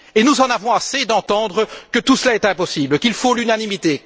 Nous en avons assez d'entendre que tout cela est impossible, qu'il faut l'unanimité.